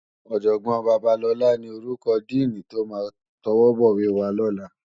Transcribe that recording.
Òjògbòn Babalola ni órúkò dìní tó má tòwòbòwé wá lòlá